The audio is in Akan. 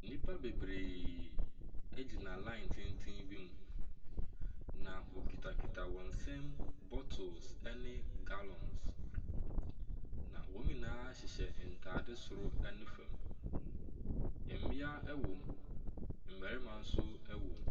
Nnipa bebree egyina line tenten bi mu. Na ɔkutakuta wɔn nsam bottles ɛne gallons. Na wɔn nyinaa hyehyɛ ntaade soro ɛne fam. Mmea ewɔm, mmarima nso ɛwɔm.